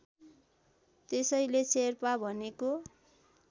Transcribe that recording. त्यसैले शेर्पा भनेको